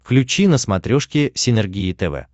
включи на смотрешке синергия тв